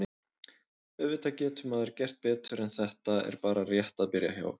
Auðvitað getur maður gert betur en þetta er bara rétt að byrja hjá okkur.